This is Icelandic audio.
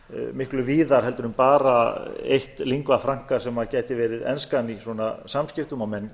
miklu víðar heldur en bara eitt lingua franka sem gæti verið enskan í svona samskiptum og menn